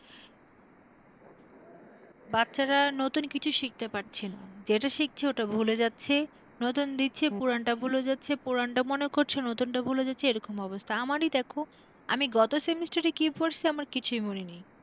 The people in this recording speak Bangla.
বাচ্চারা নতুন কিছু শিখতে পারছে না যেটা শিখছে ওটা ভুলে যাচ্ছে নতুন দিচ্ছি পুরোনো টা ভুলে যাচ্ছে, পুরানটা মনে করছে নতুনটা ভুলে যাচ্ছে এরকম অবস্থা আমারই দেখ আমি গত semester কি পড়সি আমার কিছুই মনে নেই।